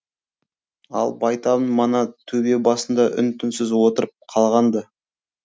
ал байтабын мана төбе басында үн түнсіз отырып қалған ды